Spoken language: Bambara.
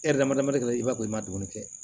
E yɛrɛ dama dama kelen i b'a bɔ i ma dumuni kɛ